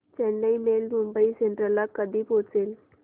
Chennai Mail Mumbai Central ला कधी पोहचेल